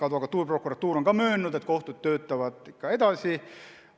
Advokatuur ja prokuratuur on möönnud, et kohtud töötavad ikka edasi.